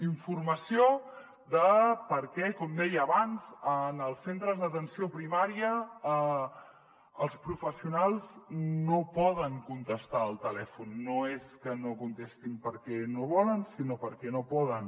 informació de per què com deia abans en els centres d’atenció primària els professionals no poden contestar al telèfon no és que no contestin perquè no volen sinó perquè no poden